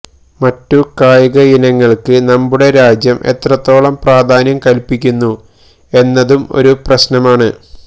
മറ്റു കായികയിനങ്ങള്ക്ക് നമ്മുടെ രാജ്യം എത്രത്തോളം പ്രാധാന്യം കല്പ്പിക്കുന്നു എന്നതും ഒരു പ്രശ്നമാണ്